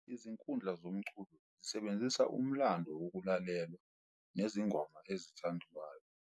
Izinkundla zomculo zisebenzisa umlando wokulalelwa nezingoma ezithandwayo.